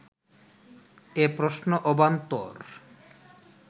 এ প্রশ্ন অবান্তর